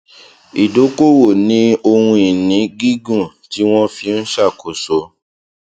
ìdókòwò ní ohun ìní gígùn tí wón fi n ṣàkóso